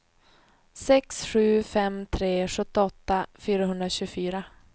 sex sju fem tre sjuttioåtta fyrahundratjugofyra